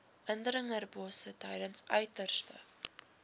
indringerbosse tydens uiterste